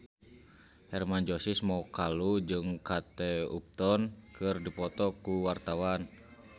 Hermann Josis Mokalu jeung Kate Upton keur dipoto ku wartawan